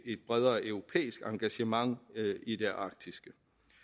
et bredere europæisk engagement i det arktiske